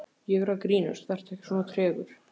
Ég er að grínast, vertu ekki svona tregur.